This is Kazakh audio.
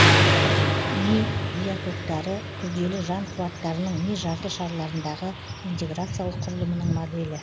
ми биотоктары күрделі жан қуаттарының ми жарты шарларындағы интеграциялық құрылымынының моделі